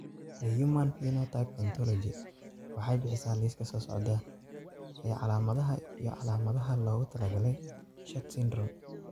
The Human Phenotype Ontology waxay bixisaa liiska soo socda ee calaamadaha iyo calaamadaha loogu talagalay SHORT syndrome.